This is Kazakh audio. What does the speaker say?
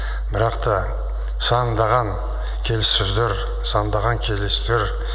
бірақ та сандаған келіссөздер сандаған кездесулер